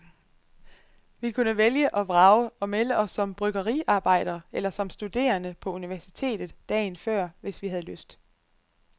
Vi kunne vælge og vrage og melde os som bryggeriarbejdere eller som studerende på universitetet, dagen før, hvis vi havde lyst.